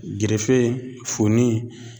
Gerefe funin